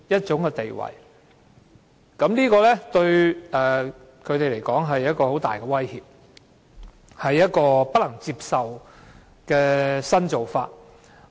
這對建制派議員來說是一種很大的威脅，亦是一種不能接受的新做法。